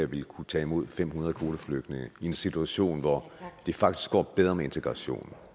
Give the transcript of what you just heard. vil kunne tage imod fem hundrede kvoteflygtninge i en situation hvor det faktisk går bedre med integrationen